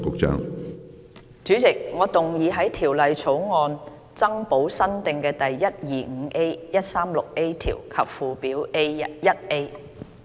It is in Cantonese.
主席，我動議在條例草案增補新訂的第 125A、136A 條及附表 1A。